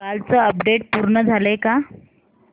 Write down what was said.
कालचं अपडेट पूर्ण झालंय का